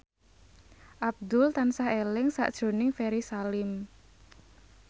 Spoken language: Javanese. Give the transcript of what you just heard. Abdul tansah eling sakjroning Ferry Salim